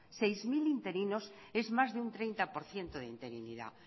seis mil interinos es más de un treinta por ciento de interinidad